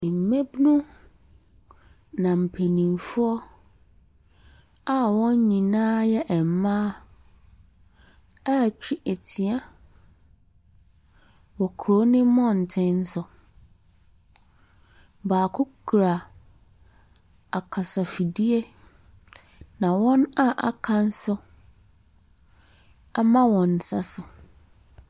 Mmabunu na mpanimfoɔ a wɔn nyinaa yɛ mmaa rete atua wɔ kuro no mmɔten so. Baako kura akasafidie na wɔn a aka nso ama wɔn nsa so.